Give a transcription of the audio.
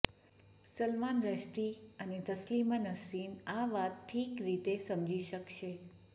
સલમાન રશ્દી અને તસ્લીમા નરસીન આ વાત ઠીક રીતે સમજી શકશે